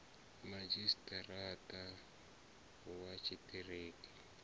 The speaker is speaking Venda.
madzhisi ṱira ṱa wa tshiṱiriki